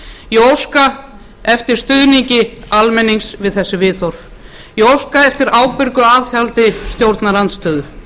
ég óska eftir stuðningi almennings við þessi viðhorf ég óska eftir ábyrgu aðhaldi stjórnarandstöðu